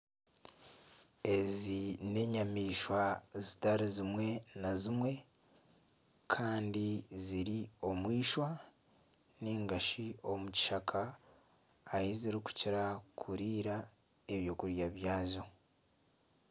Ezi n'enyamaishwa zitari zimwe na zimwe kandi ziri omu eishwa ningashi omu kishaka ahu zikukira kiriira ebyokurya byazo.